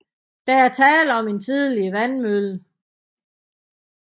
Der er tale om en tidligere vandmølle